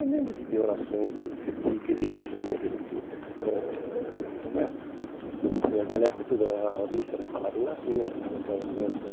Eu lembro de ver orações de de igreja né, que a gente ãh né que que naquela época toda a missa era falada em latim, a gente lembrava de orações.